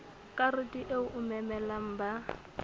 karete eo o memelang ba